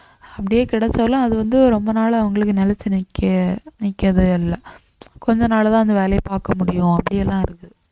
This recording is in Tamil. அப்படியே கிடைச்சாலும் அது வந்து ரொம்ப நாளா அவங்களுக்கு நிலைச்சு நிக்க நிக்கவே இல்லை கொஞ்ச நாள்தான் அந்த வேலையை பாக்க முடியும் அப்படியெல்லாம் இருக்கு